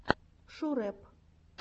шурэп